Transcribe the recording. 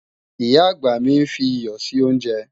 Ìyá-àgbà mi ń fi iyọ̀ sí oúnjẹ